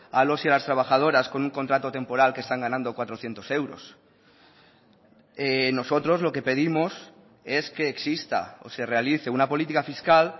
a los y a las trabajadoras con un contrato temporal que están ganando cuatrocientos euros nosotros lo que pedimos es que exista o se realice una política fiscal